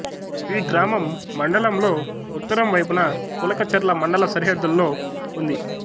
ఈ గ్రామం మండలంలో ఉత్తరం వైపున కులకచర్ల మండల సరిహద్దులో ఉంది